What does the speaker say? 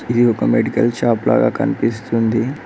ఇది ఒక medical shop లాగా కనిపిస్తుంది.